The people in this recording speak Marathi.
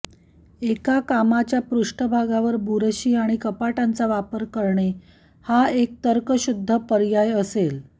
एका कामाच्या पृष्ठभागावर बुरशी आणि कपाटांचा वापर करणे हा एक तर्कशुद्ध पर्याय असेल